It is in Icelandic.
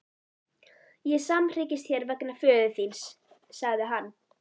Ég samhryggist þér vegna föður þíns, sagði hann.